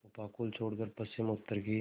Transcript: उपकूल छोड़कर पश्चिमउत्तर की